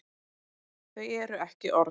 Þau eru ekki orð.